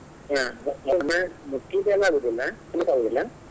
ಹಾ ಮುಟ್ಲಿಕ್ಕೆಲ್ಲ ಆಗುದಿಲ್ಲ.